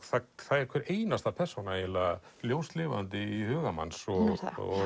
það er hver einasta persóna eiginlega ljóslifandi í huga manns og hún